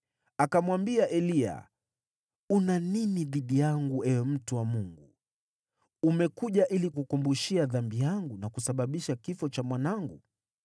Akamwambia Eliya, “Una nini dhidi yangu, ewe mtu wa Mungu? Umekuja ili kukumbushia dhambi yangu na kusababisha kifo cha mwanangu?”